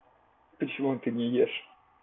почему ты не ешь